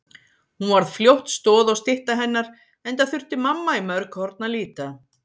Hún varð fljótt stoð og stytta hennar enda þurfti mamma í mörg horn að líta.